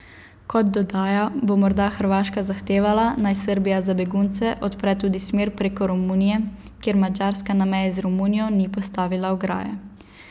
Kot dodaja, bo morda Hrvaška zahtevala, naj Srbija za begunce odpre tudi smer preko Romunije, ker Madžarska na meji z Romunijo ni postavila ograje.